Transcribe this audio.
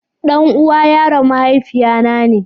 Ɗan'uwa yaron mahaifiya na ne.